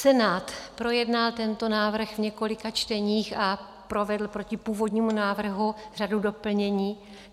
Senát projednal tento návrh v několika čteních a provedl proti původnímu návrhu řadu doplnění.